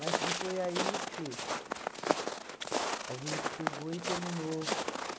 e foi aí que a gente pegou e terminou.